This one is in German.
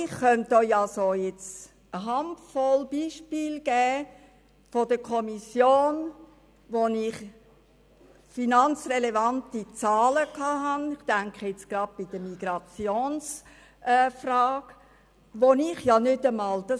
Ich könnte Ihnen eine Handvoll Beispiele aus der Kommissionsarbeit nennen, wo ich finanzrelevante Zahlen erhalten habe, gerade aus dem Bereich Migration, die ich nicht einmal den übrigen Mitgliedern meiner Fraktion weitersagen darf.